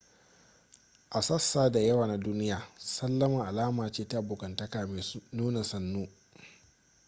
a sassa da yawa na duniya sallama alama ce ta abokantaka mai nuna sannu